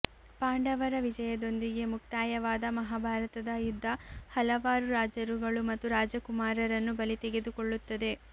ಪಾಂಡವರ ವಿಜಯದೊಂದಿಗೆ ಮುಕ್ತಾಯವಾದ ಮಹಾಭಾರತದ ಯುದ್ಧ ಹಲವಾರು ರಾಜರುಗಳು ಮತ್ತು ರಾಜಕುಮಾರರನ್ನು ಬಲಿತೆಗೆದುಕೊಳ್ಳುತ್ತದೆ